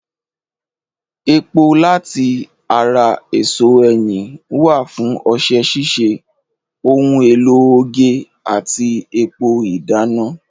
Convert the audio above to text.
Epo láti ara èso ẹyìn wà fún ọṣẹ ṣíṣe, ohun èlò oge àti epo ìdáná.